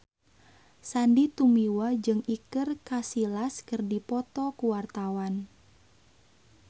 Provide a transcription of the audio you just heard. Sandy Tumiwa jeung Iker Casillas keur dipoto ku wartawan